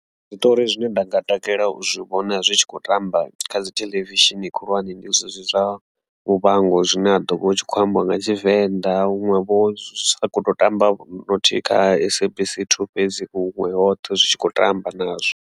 Zwiṱori zwine nda nga takalela u zwi vhona zwi tshi kho tamba kha dzi theḽevishini khulwane ndi zwezwi zwa Muvhango zwine ha ḓovha hu tshi kho ambiwa nga Tshivenḓa huṅwe vho zwi sa khoto tambavho no thi kha SABC 2 fhedzi huṅwe hoṱhe zwi tshi khou tamba nazwo.